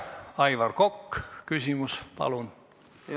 Aivar Kokk, küsimus palun!